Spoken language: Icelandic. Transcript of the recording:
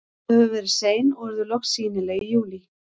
Þau hafa verið sein og urðu loks sýnileg í júlí.